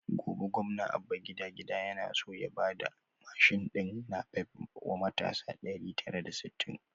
Gobe gwamna abba gida-gida yana so ya bada mashin din napep wa matasa ɗari tara da sittin